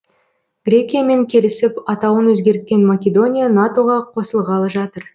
грекиямен келісіп атауын өзгерткен македония нато ға қосылғалы жатыр